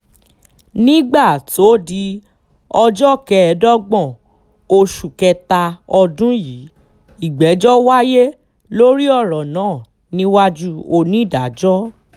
nígbà tó di ọjọ́ kẹẹ̀ẹ́dọ́gbọ̀n oṣù kẹta ọdún yìí ìgbẹ́jọ́ wáyé lórí ọ̀rọ̀ náà níwájú onídàájọ́ l